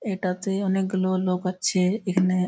এটাতে অনেকগুলো লোক আছ-এ এখানে--